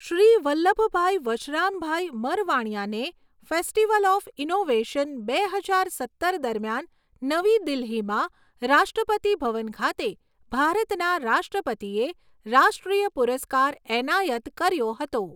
શ્રી વલ્લભભાઈ વશરામભાઈ મરવાણિયાને festival of innovation બે હજાર સત્તર દરમિયાન નવી દિલ્હીમાં રાષ્ટ્રપતિ ભવન ખાતે ભારતના રાષ્ટ્રપતિએ રાષ્ટ્રીય પુરસ્કાર એનાયત કર્યો હતો.